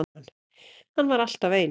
Hann var alltaf eins.